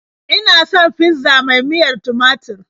Ina son fizza mai miyar tumatur.